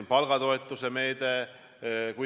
On see palgatoetuse meede.